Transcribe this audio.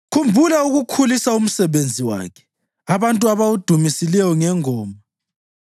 Khumbula ukukhulisa umsebenzi wakhe, abantu abawudumisileyo ngengoma.